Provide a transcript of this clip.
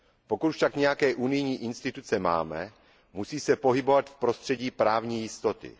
Pokud však nějaké unijní instituce máme, musí se pohybovat v prostředí právní jistoty.